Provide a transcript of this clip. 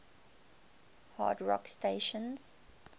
hard rock stations